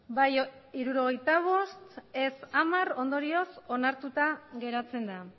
bai hirurogeita bost ez hamar ondorioz onartuta geratzen da